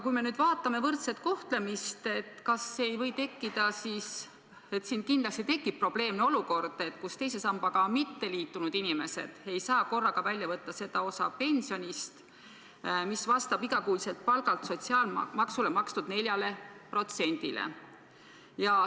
Kui me nüüd lähtume võrdse kohtlemise printsiibist, siis võib öelda, et kindlasti tekib probleemne olukord, sest teise sambaga mitteliitunud inimesed ei saa korraga välja võtta seda osa pensionist, mis vastab iga kuu palgalt sotsiaalmaksuks makstud 4%-le.